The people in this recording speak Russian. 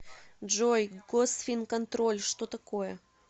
джой госфинконтроль что такое